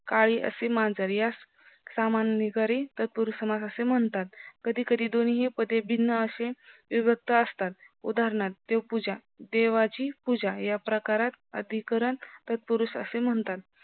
काळी असे मांजर यास सामान्यकरी तात्पुरुस समास असे म्हणतात कधी कधी दोन्हीही पदे भिन्न आशे विभक्त असतात उदानहार्थ देवपूजा देवाची पूजा या प्रकारात अधिकरण तत्पुरुष असे म्हणतात